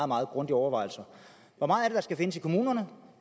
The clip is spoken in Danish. meget grundige overvejelser hvor meget er det der skal findes i kommunerne